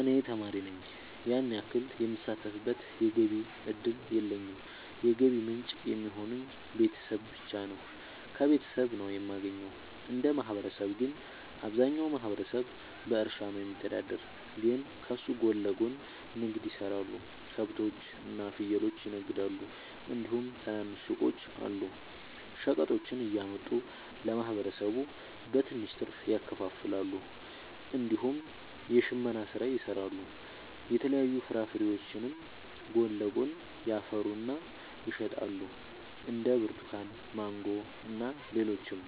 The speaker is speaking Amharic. እኔ ተማሪ ነኝ ያን ያክል የምሳተፍበት የገቢ እድል የለኝም የገቢ ምንጭ የሚሆኑኝ ቤተሰብ ብቻ ነው። ከቤተሰብ ነው የማገኘው። እንደ ማህበረሰብ ግን አብዛኛው ማህበረሰብ በእርሻ ነው የሚተዳደር ግን ከሱ ጎን ለጎን ንግድ የሰራሉ ከብቶች እና ፍየሎችን ይነግዳሉ እንዲሁም ትናንሽ ሱቆች አሉ። ሸቀጦችን እያመጡ ለማህበረሰቡ በትንሽ ትርፍ ያከፋፍላሉ። እንዲሁም የሽመና ስራ ይሰራሉ የተለያዩ ፍራፍሬዎችንም ጎን ለጎን ያፈሩና ይሸጣሉ እንደ ብርቱካን ማንጎ እና ሌሎችም።